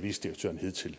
vicedirektøren hidtil